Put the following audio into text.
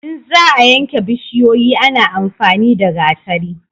in za a yanke bishiyoyi ana amfani da gatari